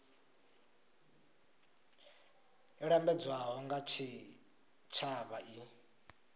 yo lambedzwaho nga tshitshavha i